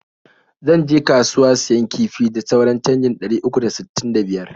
zan je kasuwa siyan kifi da sauran canjin ɗari uku da sttin da biyar.